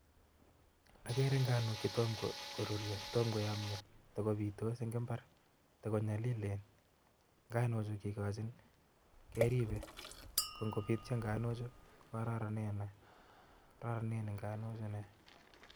Agree ngani chetonmo korurio, Tomo koyamyo takobitos en imbar, takonyalilen Nago Chu keribe, AK ngopityo ngani Chu kokararanen nei